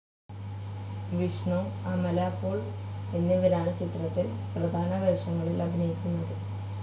വിഷ്ണു, അമല പോൾ എന്നിവരാണ് ചിത്രത്തിൽ പ്രധാന വേഷങ്ങളിൽ അഭിനയിക്കുന്നത്.